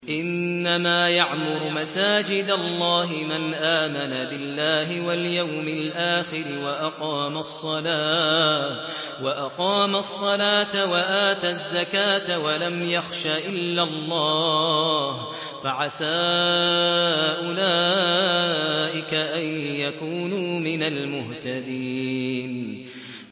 إِنَّمَا يَعْمُرُ مَسَاجِدَ اللَّهِ مَنْ آمَنَ بِاللَّهِ وَالْيَوْمِ الْآخِرِ وَأَقَامَ الصَّلَاةَ وَآتَى الزَّكَاةَ وَلَمْ يَخْشَ إِلَّا اللَّهَ ۖ فَعَسَىٰ أُولَٰئِكَ أَن يَكُونُوا مِنَ الْمُهْتَدِينَ